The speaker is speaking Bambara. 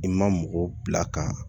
I ma mɔgɔ bila ka